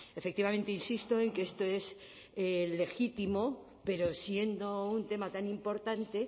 efectivamente insisto en que esto es legítimo pero siendo un tema tan importante